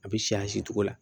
A bɛ cogo la